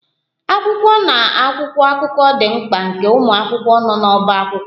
Akwụkwọ na akwụkwọ akụkọ dị mkpa nke ụmụ akwụkwọ nọ n'ọbá akwụkwọ